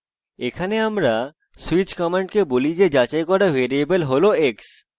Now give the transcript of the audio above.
এখানে আমরা switch command বলি যে যাচাই করা ভ্যারিয়েবল হল x